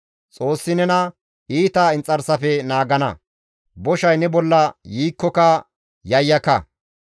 Xoossi nena iita inxarsafe naagana; boshay ne bolla yiikkoka yayyaka.